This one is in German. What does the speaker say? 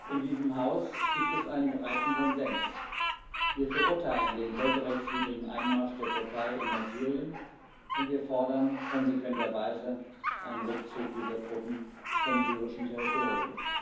In diesem Haus gibt es einen breiten Konsens Wir verurteilen den völkerrechtswidrigen Einmarsch der Türkei in Nordsyrien, und wir fordern konsequenterweise einen Rückzug dieser Truppen vom syrischen Territorium.